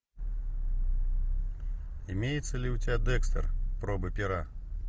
имеется ли у тебя декстер пробы пера